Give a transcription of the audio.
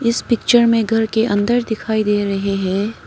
इस पिक्चर में घर के अंदर दिखाई दे रहे हैं।